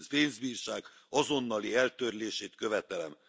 pénzbírság azonnali eltörlését követelem!